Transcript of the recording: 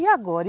E agora?